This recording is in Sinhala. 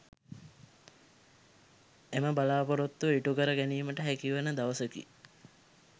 එම බලා‍පොරොත්තුව ඉටු කර ගැනීමට හැකිවන දවසකි.